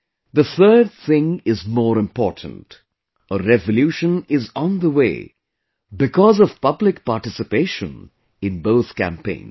The third thing is more important a revolution is on the way because of public participation in both campaigns